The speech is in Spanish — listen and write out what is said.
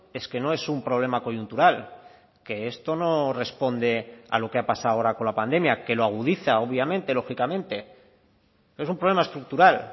es que no es un problema coyuntural que esto no responde a lo que ha pasado ahora con la pandemia que lo agudiza obviamente lógicamente es un problema estructural